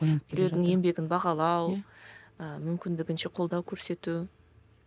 біреудің еңбегін бағалау ы мүмкіндігінше қолдау көрсету